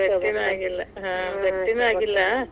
ಭೇಟಿನ ಆಗಿಲ್ಲಾ, ಹಾ ಭೇಟಿನ ಆಗಿಲ್ಲಾ.